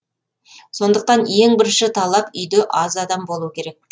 сондықтан ең бірінші талап үйде аз адам болу керек